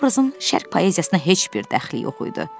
Bu obrazın şərq poeziyasına heç bir dəxli yox idi.